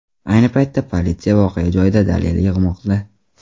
Ayni paytda politsiya voqea joyida dalil yig‘moqda.